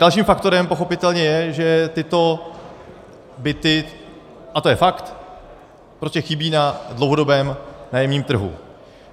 Dalším faktorem pochopitelně je, že tyto byty, a to je fakt, prostě chybí na dlouhodobém nájemním trhu.